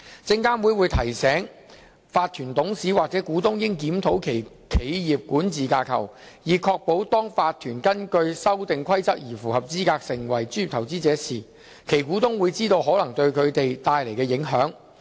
證監會會提醒法團董事或股東應檢討其企業管治架構，以確保當法團根據《修訂規則》而符合資格成為專業投資者時，其股東會知道可能對他們帶來的影響。